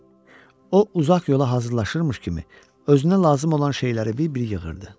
O uzaq yola hazırlaşırmış kimi özünə lazım olan şeyləri bir-bir yığırdı.